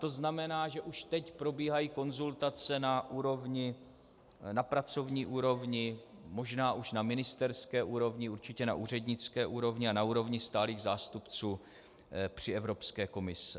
To znamená, že už teď probíhají konzultace na pracovní úrovni, možná už na ministerské úrovni, určitě na úřednické úrovni a na úrovni stálých zástupců při Evropské komisi.